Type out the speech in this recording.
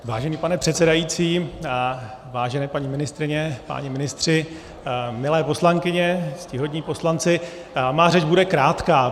Vážený pane předsedající, vážené paní ministryně, páni ministři, milé poslankyně, ctihodní poslanci, má řeč bude krátká.